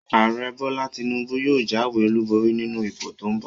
Ààrẹ Bọ́lá Tinúbú yóò jáwé olùborí nínú ìbò tó n bọ̀